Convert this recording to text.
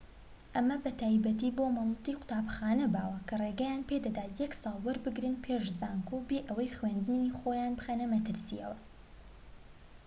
ئەمە بە تایبەتی بۆ مۆڵەتی قوتابخانە باوە کە ڕێگەیان پێدەدات یەک ساڵ وەربگرن پێش زانکۆ بێ ئەوەی خوێندنی خۆیان بخەنە مەترسی